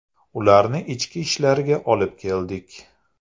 Ularni Ichki ishlarga olib keldik.